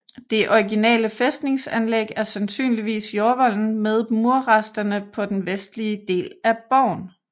Det originale fæstningsanlæg er sandsynligvis jordvolden med murresterne på den vestlige del af borgen